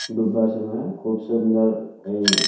ঢুকবার সময় খুব সুন্দর ই।